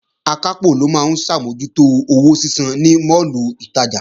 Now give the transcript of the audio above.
Akápò ló máa ń ṣàmójútó owó sísan ní máàlù ìtajà